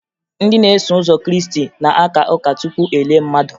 Ndị na-eso ụzọ krịịstị na-aka ụka tupu e lie mmadụ